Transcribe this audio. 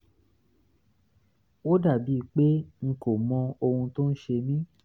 ó dàbí pé n kò mọ ohun tó ń ṣe mí